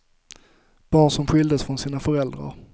Barn som skildes från sina föräldrar.